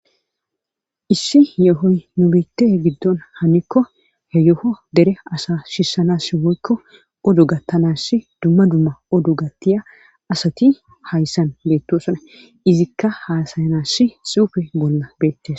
Issih yohoy nubitan hanikko he yoha dere asa sisanas woykko odo gatanas duma duma odo gatiya asati haysan betosona izikka hasayanasi xuffe bola bettes.